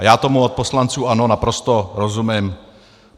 A já tomu od poslanců ANO naprosto rozumím.